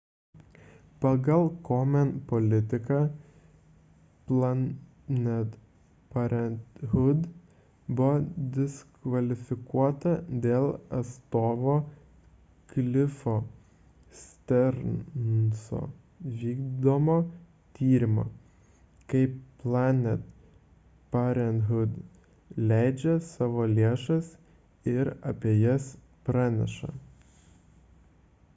pagal komen politiką planned parenthood buvo diskvalifikuota dėl atstovo cliffo stearnso vykdomo tyrimo kaip planned parenthood leidžia savo lėšas ir apie jas praneša